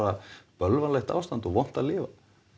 bölvanlegt ástand og vont að lifa